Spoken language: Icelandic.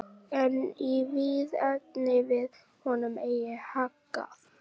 En í því efni varð honum eigi haggað.